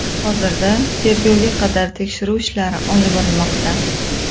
Hozirda tergovga qadar tekshiruv ishlari olib borilmoqda.